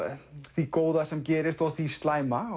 því góða sem gerist og því slæma